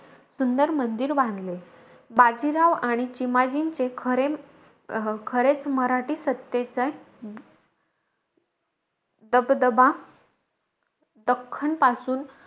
सुंदर मंदिर बांधले. बाजीराव आणि चिमाजींचे खरे अं खरेच मराठी सत्तेचे दबदबा दक्खनपासून,